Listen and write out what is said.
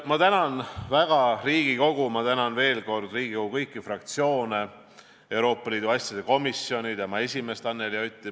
Ma tänan väga Riigikogu, ma tänan veel kord Riigikogu kõiki fraktsioone, Euroopa Liidu asjade komisjoni ja selle esimeest Anneli Otti.